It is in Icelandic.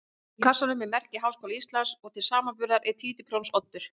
Inni í kassanum er merki Háskóla Íslands og til samanburðar er títuprjónsoddur.